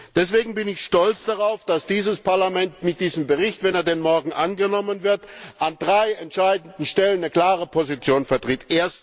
Deswegen bin ich stolz darauf, dass dieses Parlament mit diesem Bericht wenn er denn morgen angenommen wird an drei entscheidenden Stellen eine klare Position vertritt.